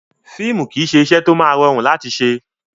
Fíìmù kìí ṣe iṣẹ́ tó máa rọrùn láti ṣe.